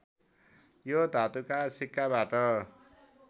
यो धातुका सिक्काबाट